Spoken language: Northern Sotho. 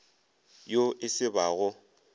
yo e se ba go